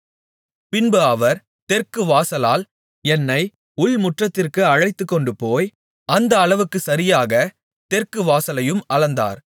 பின்பு அவர் தெற்கு வாசலால் என்னை உள்முற்றத்திற்கு அழைத்துக்கொண்டுபோய் அந்த அளவுக்குச் சரியாகத் தெற்கு வாசலையும் அளந்தார்